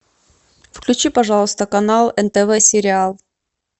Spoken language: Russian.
включи пожалуйста канал нтв сериал